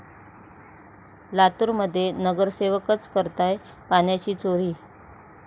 लातूरमध्ये नगरसेवकच करताय पाण्याची चोरी!